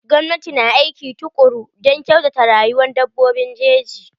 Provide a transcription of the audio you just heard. Gwamnati na aiki tukuru don kyautata rayuwan dabbobin jeji.